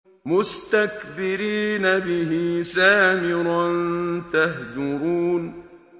مُسْتَكْبِرِينَ بِهِ سَامِرًا تَهْجُرُونَ